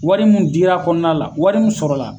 Wari mun dira kɔnɔna la, wari mun sɔrɔla.